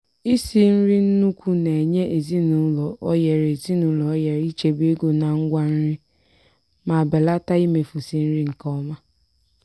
isi nri n'ukwu na-enye ezinụlọ ohere ezinụlọ ohere ichebe ego na ngwa nri ma belata imefusi nri nke ọma.